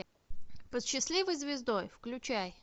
под счастливой звездой включай